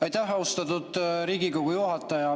Aitäh, austatud Riigikogu juhataja!